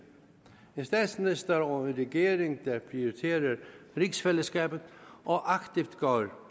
en statsminister og en regering der prioriterer rigsfællesskabet og aktivt går